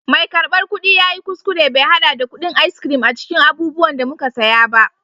mai karbar kudi ya yi kuskure bai hada da kudin ice cream a cikin abubuwan da muka saya ba